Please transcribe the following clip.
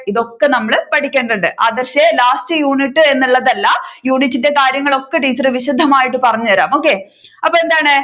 ഇതൊക്കെ നമ്മൾ പഠിക്കേണ്ടതുണ്ട് ആദർഷേ lastunit എന്നുള്ളതല്ല unit ന്റെ കാര്യങ്ങൾ ഒക്കെ ടീച്ചർ വിശദമായിട്ടു പറഞ്ഞു തരാം okay അപ്പൊ എന്താണ്